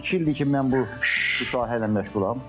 İki ildir ki, mən bu sahə ilə məşğulam.